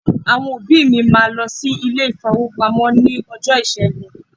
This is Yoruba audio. Àwọn òbí mi máa lọ sí ilé-ìfowópamọ́ ní ọjọ́ Ìṣẹ́gun.